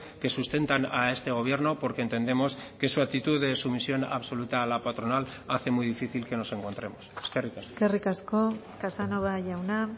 que sustentan a este gobierno porque entendemos que su actitud de sumisión absoluta a la patronal hace muy difícil que nos encontremos eskerrik asko eskerrik asko casanova jauna